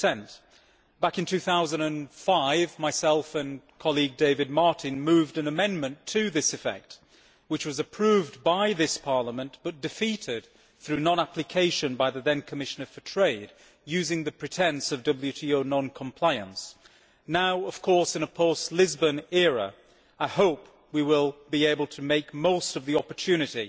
2 Back in 2005, myself and my colleague David Martin moved an amendment to this effect which was approved by this Parliament but was defeated through non application by the then Commissioner for Trade, using the pretence of WTO non compliance. Now, of course, in a post Lisbon era, I hope we will be able to make the most of the opportunity